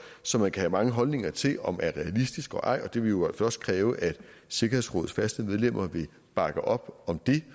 som man kan have mange holdninger til om er realistisk eller ej det vil jo altså også kræve at sikkerhedsrådets faste medlemmer vil bakke op om det